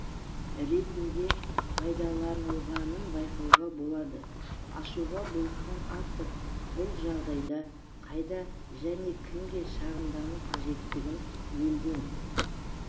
ретінде пайдаланылғанын байқауға болады ашуға булыққан автор бұл жағдайда қайда және кімге шағымдану қажеттігін елден